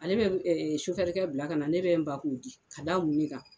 Ale bɛ kɛ bila kana ko ne bɛ n ban k'o di k'a da mun de kan?